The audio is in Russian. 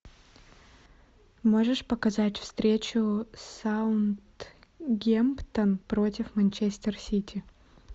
можешь показать встречу саутгемптон против манчестер сити